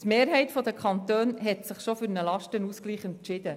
Die Mehrheit der Kantone hat sich bereits für einen Lastenausgleich entschieden.